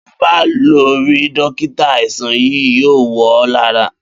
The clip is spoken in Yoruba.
Bí o ò ba lo̩ rí dókítà, àìsàn yìí yóò wò̩ ó̩ lára